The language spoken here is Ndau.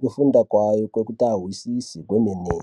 kufunda kwavo kwekuti vazwisise kwemene.